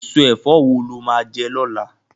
Èso ẹ̀fọ́ wo la máa jẹ lọ́la?